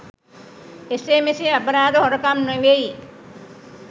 එසේ මෙසේ අපරාධ හොරකම් නෙමෙයි.